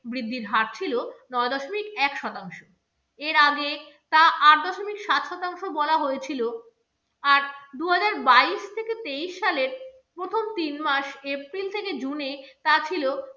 বৃদ্ধির হার ছিল নয় দশমিক এক শতাংশ। এর আগে তা আট দশমিক সাত শতাংশ বলা হয়েছিল আর দুহাজার বাইশ থেকে তেইশ সালের প্রথম তিন মাস april থেকে june এ তা ছিল